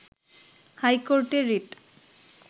হাইকোর্টে রিট